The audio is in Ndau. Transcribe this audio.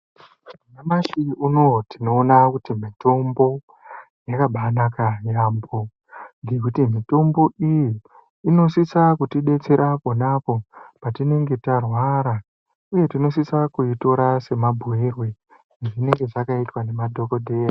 Nyamashi unowu tinoona kuti mitombo, yakabaanaka yaampho, ngekuti mitombo iyi ,inosisa kutidetsera pona apo ,patinenge tarwara, uye tinosisa kuitora semabhuirwe ezvinenge zvakaitwa ngemadhokodheya.